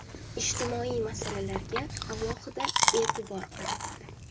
Ijtimoiy masalalarga alohida e’tibor qaratildi.